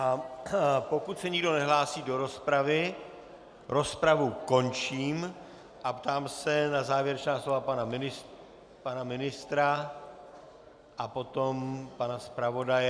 A pokud se nikdo nehlásí do rozpravy, rozpravu končím a ptám se na závěrečná slova pana ministra a potom pana zpravodaje.